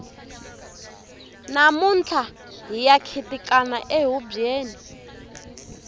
namuntlha hiya khitikana ehubyeni